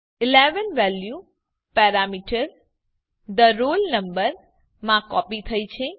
11 value parameter the roll number માં copy થઇ છે